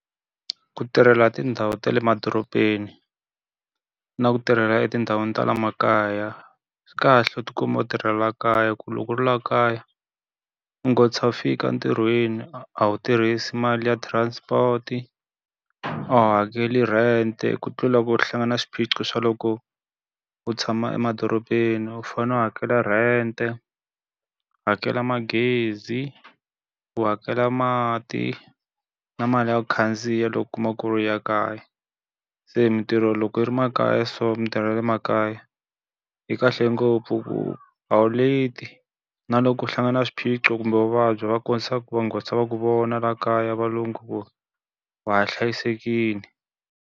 Ku tirhela tindhawu ta le madorobeni, na ku tirhela etindhawini ta le makaya swi kahle u ti kuma u tirhela kaya ku loko laha kaya, u nghotlisa u fika entirhweni. A wu tirhisi mali ya transport-i, a wu hakeli rent-e ku tlula hi ku hlangana swiphiqo swa loko u tshama emadorobeni u fanele u hakela rent-e, u hakela magezi, u hakela mati, na mali ya ku khandziya loko u kuma ku ri u ya kaya. Se mintirho loko yi ri makaya so mintirho ya le makaya, yi kahle ngopfu ku a wu leti. Na loko u hlangana na swiphiqo kumbe vuvabyi va ku va nghotlisa va ku vona laha kaya valungu ku wa ha hlayisekile.